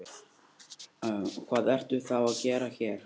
Hvað ertu þá að gera hér?